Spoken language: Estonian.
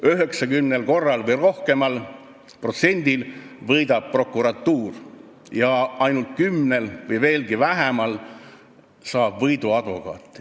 90% või rohkem juhtumitest on sellised, et võidab prokuratuur, ja ainult 10% või vähem juhtumitest on sellised, et võidu saab advokaat.